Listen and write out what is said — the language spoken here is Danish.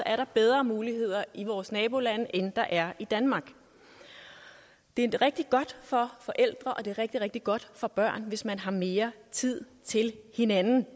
er bedre muligheder i vores nabolande end der er i danmark det er rigtig godt for forældre og det er rigtig rigtig godt for børn hvis man har mere tid til hinanden